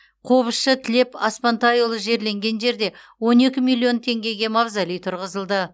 қобызшы тілеп аспантайұлы жерленген жерде он екі миллион теңгеге мавзолей тұрғызылды